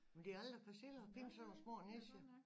Men det er aldrig for sent at finde sådan nogle små nicher